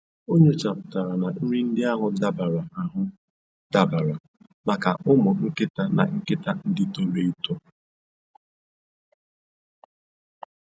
O nyochapụtara na nri ndị ahụ dabara ahụ dabara maka ụmụ nkịta na nkịta ndị toro eto